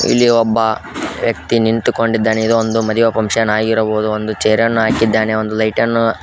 ಇಲ್ಲಿ ಒಬ್ಬ ವ್ಯಕ್ತಿ ನಿಂತುಕೊಂಡಿದ್ದಾನೆ ಇದು ಒಂದು ಮದುವೆ ಫುನ್ಕ್ಷನ್ ಆಗಿರಬಹುದು ಒಂದು ಚೇರ ನ್ನು ಹಾಕಿದ್ದಾನೆ ಒಂದು ಲೈಟ ನ್ನು --